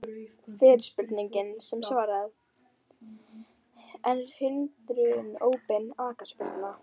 Fyrirspurnir sem var svarað: Er hindrun óbein aukaspyrna?